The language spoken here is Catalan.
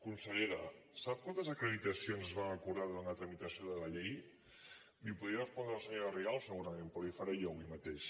consellera sap quantes acreditacions es van acordar durant la tramitació de la llei l’hi podria respondre la senyora rigau segurament però l’hi faré jo avui mateix